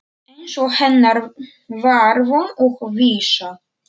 Eins og hennar var von og vísa.